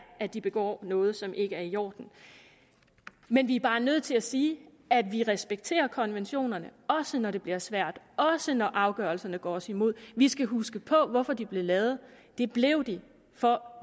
at de begår noget som ikke er i orden men vi er bare nødt til at sige at vi respekterer konventionerne også når det bliver svært også når afgørelserne går os imod vi skal huske på hvorfor de blev lavet det blev de for